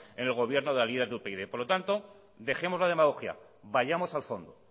en el gobierno de la líder del upyd por lo tanto dejemos la demagogia vayamos al fondo